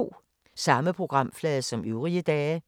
Samme programflade som øvrige dage